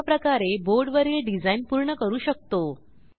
अशाप्रकारे बोर्ड वरील डिझाईन पूर्ण करू शकतो